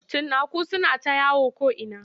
Cinnaku suna ta yawo ko'ina.